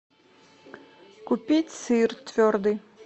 купить сыр твердый